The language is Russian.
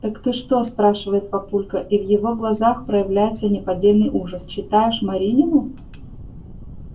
так ты что спрашивает папулька и в его глазах проявляется неподдельный ужас читаешь маринину